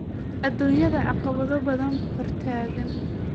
Adduunyada caqabado badan hortaagan.